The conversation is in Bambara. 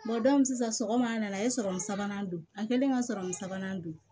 sisan sɔgɔma an nana a ye sabanan don an kɛlen ka sɔrɔmun sabanan don